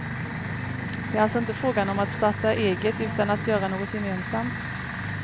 Det är alltså inte fråga om att starta eget utan att göra något gemensamt.